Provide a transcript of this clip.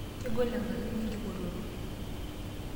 Kegolenkarana enye enkipototo.